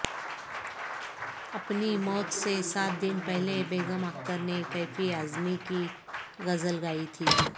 اپنی موت سے سات دن پہلے بیگم اختر نے کیفی اعظمی کی غزل گائی تھی